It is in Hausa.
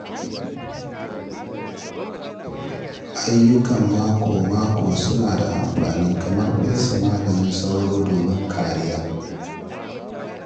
Ayyukan mako-mako suna da amfani, kamar fesa maganin sauro domin kariya.